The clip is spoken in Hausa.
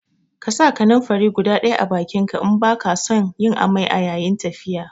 Ƙasa kananfari guda ɗaya a bakinka in baka son yin amai a yayin tafiya